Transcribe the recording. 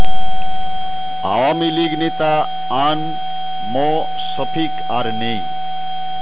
আওয়ামী লীগ নেতা আ ন ম শফিক আর নেই